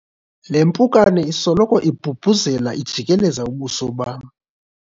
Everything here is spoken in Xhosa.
le mpukane isoloko ibhubhuzela ijikeleza ubuso bam